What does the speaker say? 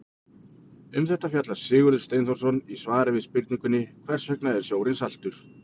Um þetta fjallar Sigurður Steinþórsson í svari við spurningunni Hvers vegna er sjórinn saltur?